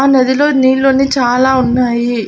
ఆ నదిలో నీళ్ళుంది చాలా ఉన్నాయి.